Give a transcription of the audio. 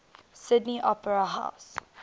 sydney opera house